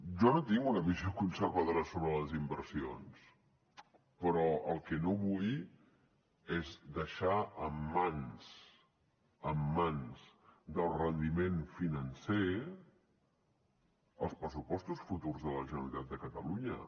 jo no tinc una visió conservadora sobre les inversions però el que no vull és deixar en mans en mans del rendiment financer els pressupostos futurs de la generalitat de catalunya